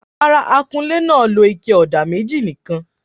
Rárá, akunlé náà lo ike ọ̀dà méjì nìkan.